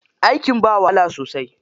Aikin ba wahala sosai.